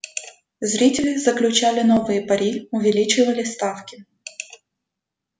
зрители заключали новые пари увеличивали ставки